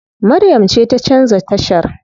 Maryam ce ta canza tashar.